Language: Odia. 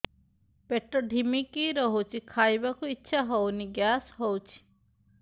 ପେଟ ଢିମିକି ରହୁଛି ଖାଇବାକୁ ଇଛା ହଉନି ଗ୍ୟାସ ହଉଚି